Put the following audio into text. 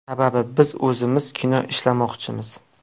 Sababi, biz o‘zimiz kino ishlamoqchimiz.